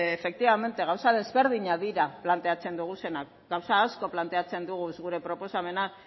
efectivamente gauza desberdinak dira planteatzen ditugunak gauza asko planteatzen dugu gure proposamenak